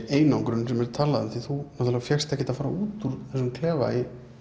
einangrun sem er talað um því þú fékkst ekkert að fara út úr þessum klefa